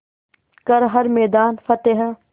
कर हर मैदान फ़तेह